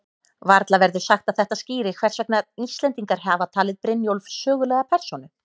Varla verður sagt að þetta skýri hvers vegna Íslendingar hafa talið Brynjólf sögulega persónu.